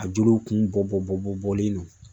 A jolow kun bɔ bɔ bɔlen do